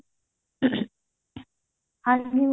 ਹਾਂਜੀ